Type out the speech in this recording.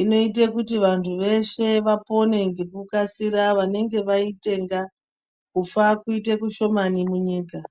Inoite kuti vanhu veshe vapone ngekukasira vanenge vaitenga, kufa kuite kushomani munyika.